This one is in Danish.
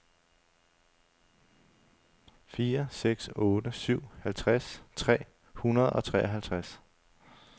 fire seks otte syv halvtreds tre hundrede og treoghalvtreds